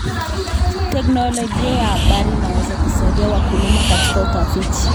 Teknolojia ya habari inaweza kusaidia wakulima katika utafiti.